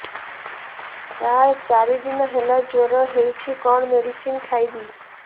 ସାର ଚାରି ଦିନ ହେଲା ଜ୍ଵର ହେଇଚି କଣ ମେଡିସିନ ଖାଇବି